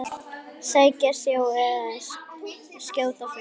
Sækja sjó eða skjóta fugl.